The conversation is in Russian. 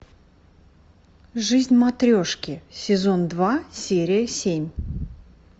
жизнь матрешки сезон два серия семь